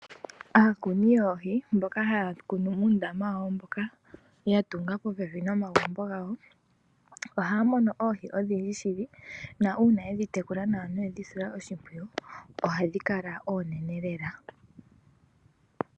Aakuni yoohi mboka haya kunu muundama wawo mboka yatunga popepi nomagumbo gawo ohaya mono oohi ohadhi kala oonene lela .